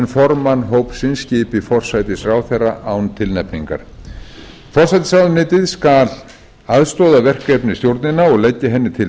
formann hópsins skipi forsætisráðherra án tilnefningar forsætisráðuneytið skal aðstoða verkefnisstjórnina og leggja henni til